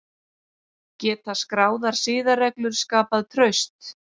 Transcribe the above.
Geta skráðar siðareglur skapað traust?